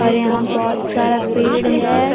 और यहां बहोत सारा पेड़ है।